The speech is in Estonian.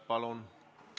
Palun!